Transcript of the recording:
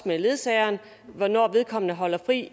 med ledsageren hvornår vedkommende holder fri